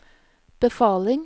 befaling